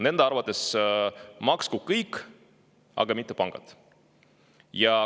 Nende arvates maksku kõik, aga mitte pangad.